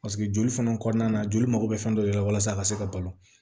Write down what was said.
Paseke joli fana kɔnɔna na joli mago bɛ fɛn dɔ de la walasa a ka se ka balo